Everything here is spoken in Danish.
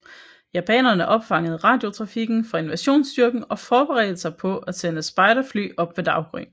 Japanerne opfangede radiotrafikken fra invasionsstyrken og forberedte sig på at sende spejderfly op ved daggry